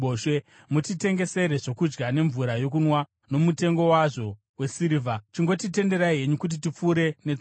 Mutitengesere zvokudya nemvura yokunwa nomutengo wazvo wesirivha. Chingotitenderai henyu kuti tipfuure netsoka,